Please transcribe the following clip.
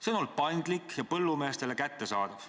See on olnud paindlik ja põllumeestele kättesaadav.